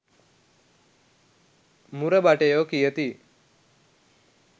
මුර භටයෝ කියති